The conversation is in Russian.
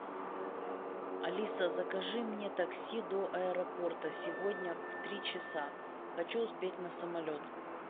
алиса закажи мне такси до аэропорта сегодня в три часа хочу успеть на самолет